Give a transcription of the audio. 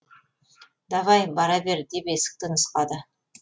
давай бара бер деп есікті нұсқады